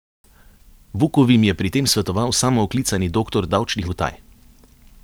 Vukovim je pri tem svetoval samooklicani doktor davčnih utaj.